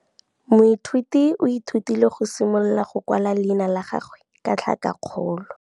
Moithuti o ithutile go simolola go kwala leina la gagwe ka tlhakakgolo.